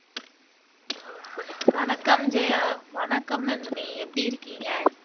வணக்கம் ஜெயா வணக்கம் நந்தினி எப்படி இருக்கீங்க